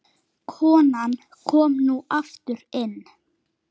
Konan kom nú aftur inn.